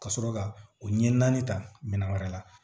Ka sɔrɔ ka o ɲɛ naani ta minɛn wɛrɛ la